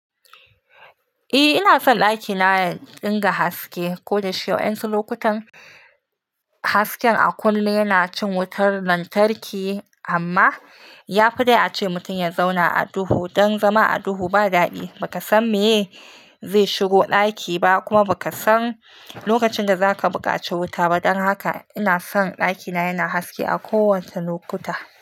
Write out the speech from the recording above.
Eh ina son ɗakina ya dinga haske ko da shike wadansu lokutan hasken a kullum yana cin wutar lantarki amma yafi dai ace mutum ya zauna a duhu. Dan zama a duhu ba daɗi, baka san meye zai shigo ɗaki ba kuma baka san lokacin da zaka buƙaci wuta ba. Dan haka ina son ɗakina yana haske a kowace lokuta.